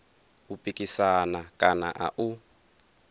u pikisana kana a u